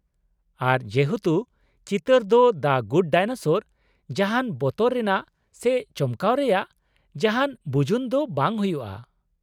ᱟᱨ ᱡᱮᱦᱮᱛᱩ ᱪᱤᱛᱟᱹᱨ ᱫᱚ ᱫᱟ ᱜᱩᱰ ᱰᱟᱭᱱᱮᱥᱚᱨ, ᱡᱟᱦᱟᱱ ᱵᱚᱛᱚᱨ ᱨᱮᱭᱟᱜ ᱥᱮ ᱪᱚᱢᱠᱟᱣ ᱨᱮᱭᱟᱜ ᱡᱟᱦᱟᱱ ᱵᱩᱡᱩᱱ ᱫᱚ ᱵᱟᱝ ᱦᱩᱭᱩᱜᱼᱟ ᱾